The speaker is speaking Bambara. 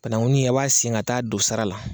Banakunin an b'a sen ka taa don sara la.